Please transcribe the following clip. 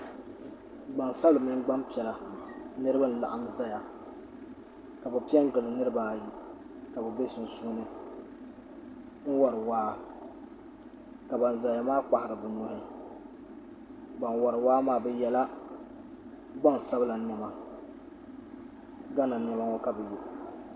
Gbaŋ sabila mini gbaŋ piɛla niriba n laɣim zaya ka bi pɛ n gili niriba ayi ka bi bɛ sunsuni n wori waa ka ban zaya maa kpahiri bi nuhi ban wori waa maa bi yɛla gbaŋ sabila nɛma Gana nɛma ŋɔ ka bi yiɛ.